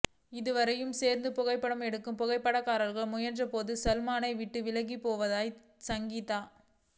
இருவரையும் சேர்த்து புகைப்படம் எடுக்க புகைப்படக்காரர்கள் முயன்றபோது சல்மானை விட்டு விலகிப் போய் விட்டார் சங்கீதா